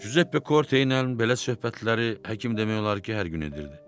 Cuzeppe Korte ilə belə söhbətləri həkim demək olar ki, hər gün edirdi.